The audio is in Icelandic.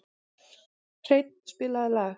Hreinn, spilaðu lag.